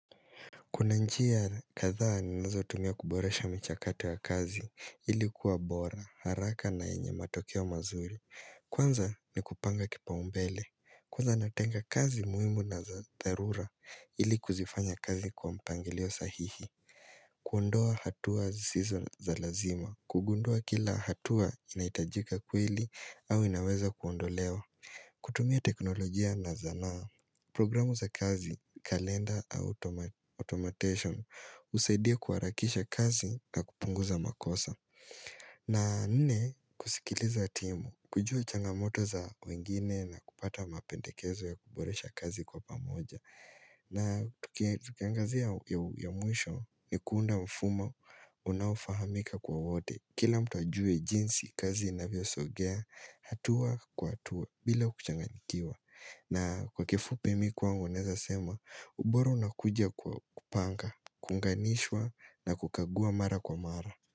Kuna njia kadhaa ninazotumia kuboresha michakato ya kazi ili kuwa bora, haraka na yenye matokeo mazuri. Kwanza ni kupanga kipaumbele. Kwanza natenga kazi muimu na za dharura ili kuzifanya kazi kwa mpangilio sahihi. Kuondoa hatua zisizo za lazima. Kugundua kila hatua inahitajika kweili au inaweza kuondolewa. Kutumia teknolojia na zanaa. Programu za kazi, kalenda Automation, usaidia kuharakisha kazi na kupunguza makosa. Na nne, kusikiliza timu, kujua changamoto za wengine na kupata mapendekezo ya kuboresha kazi kwa pamoja. Na tukiangazia ya mwisho ni kuunda mfumo, unaofahamika kwa wote. Kila mtu ajue jinsi kazi inavyosogea, hatua kwa hatua bila kuchanganyikiwa. Na kwa kifupi mi kwangu naeza sema ubora unakuja kupanga, kunganishwa na kukagua mara kwa mara.